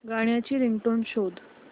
गाण्याची रिंगटोन शोध